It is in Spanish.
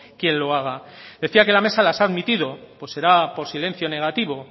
quien lo haga decía que la mesa las ha admitida pues será por silencio negativo